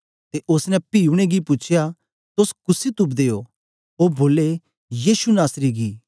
ते ओसने पी उनेंगी पूछया तोस कुसी तुपदे ओ ओ बोले यीशु नासरी गी